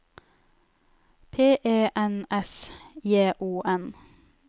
P E N S J O N